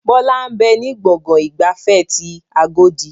Bọlá ń bẹ ní gbọ̀ngàn ìgbafẹ́ ti agodi